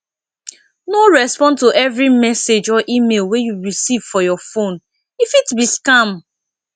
no respond to every message or email wey you recieve for your phone e fit be scam